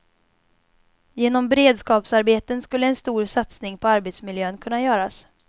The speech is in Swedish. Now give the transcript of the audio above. Genom beredskapsarbeten skulle en stor satsning på arbetsmiljön kunna göras.